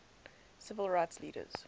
civil rights leaders